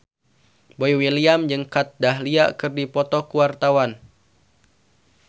Boy William jeung Kat Dahlia keur dipoto ku wartawan